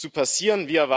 zu passieren.